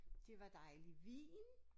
Det var dejlig vin